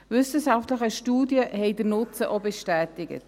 Wissenschaftliche Studien haben den Nutzen auch bestätigt.